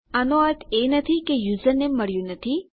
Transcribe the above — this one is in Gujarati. આનો અર્થ એ નથી કે યુઝરનેમ મળ્યું નથી